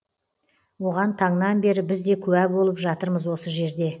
оған таңнан бері біз де куә болып жатырмыз осы жерде